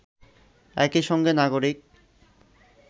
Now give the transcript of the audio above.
একই সঙ্গে নাগরিক